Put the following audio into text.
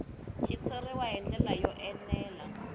xitshuriwa hi ndlela yo enela